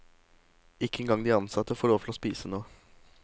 Ikke engang de ansatte får lov til å spise noe.